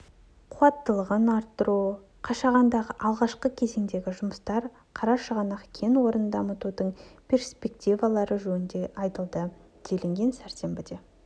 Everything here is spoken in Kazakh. қуаттылығын арттыру қашағандағы алғашқы кезеңдегі жұмыстар қарашығанақ кен орнын дамытудың перспективалары жөнінде айтылды делінген сәрсенбіде